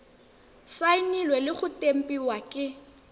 saenilwe le go tempiwa ke